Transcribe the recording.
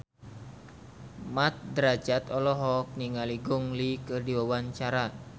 Mat Drajat olohok ningali Gong Li keur diwawancara